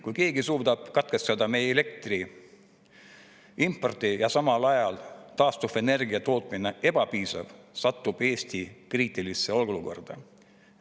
Kui keegi suudab katkestada meie elektri importi ja samal ajal on taastuvenergia tootmine ebapiisav, satub Eesti kriitilisse olukorda.